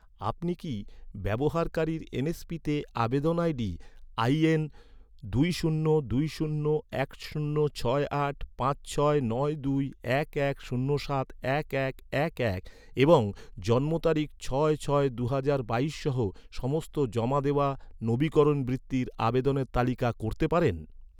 আপনি কি, ব্যবহারকারীর এনএসপিতে আবেদন আইডি আই এন দুই শূন্য দুই শূন্য এক শূন্য ছয় আট পাঁচ ছয় নয় দুই এক এক শূন্য সাত এক এক এক এক এবং জন্ম তারিখ ছয় ছয় দুহাজার বাইশ সহ সমস্ত জমা দেওয়া, নবীকরণ বৃত্তির আবেদনের তালিকা করতে পারেন